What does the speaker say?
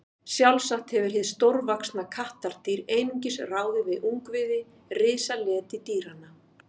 Sjálfsagt hefur hið stórvaxna kattardýr einungis ráðið við ungviði risaletidýranna.